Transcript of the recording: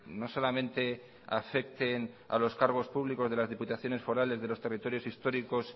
no solamente afecten a los cargos públicos de las diputaciones forales de los territorios históricos